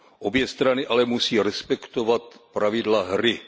Obě strany ale musí respektovat pravidla hry.